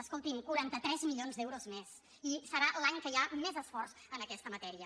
escoltin quaranta tres milions d’euros més i serà l’any que hi ha més esforç en aquesta matèria